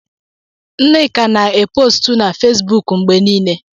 Nneka na-e postu na Fezbuuku mgbe niile.